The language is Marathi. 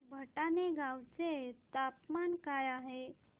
भटाणे गावाचे तापमान काय आहे